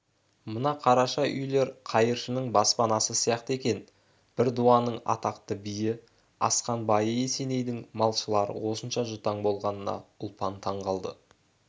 мына қараша үйлер қайыршының баспанасы сияқты екен бір дуанның атақты биі асқан байы есенейдің малшылары осынша жұтаң болғанына ұлпан таң қалды